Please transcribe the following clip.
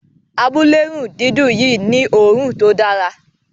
Amulerundidun Yi ni òòrùn tó Dára